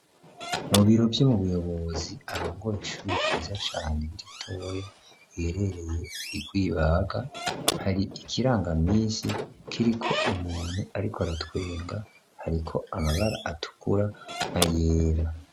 Mu biro vyu mu buyobozi arongoye ishuri ryiza cane ritoya riherereye I Rwibaga hari ikirangaminsi kiriko umuntu ariko aratwenga hari ko amabara atukura na yera.